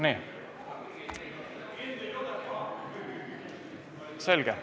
Nii, selge.